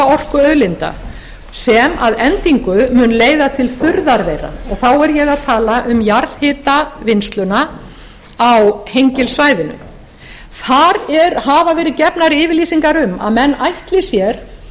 orkuauðlinda sem að endingu mun leiða til þurrðar þeirra þá er ég að tala um jarðhitavinnsluna á hengilssvæðinu þar hafa verið gefnar yfirlýsingar um að menn ætli sér